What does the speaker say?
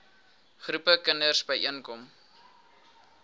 groepe kinders byeenkom